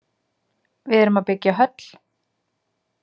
Við erum að byggja höll.